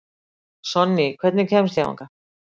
Sonný, hvernig kemst ég þangað?